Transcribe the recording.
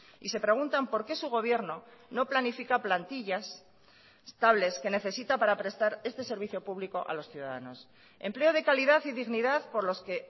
y se preguntan por qué su gobierno no planifica plantillas estables que necesita para prestar este servicio público a los ciudadanos empleo de calidad y dignidad por los que